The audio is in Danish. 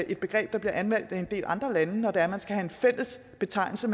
et begreb der bliver anvendt af en del andre lande når det er man skal have en fælles betegnelse